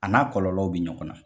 A n'a kɔlɔlɔw bɛ ɲɔgɔn na.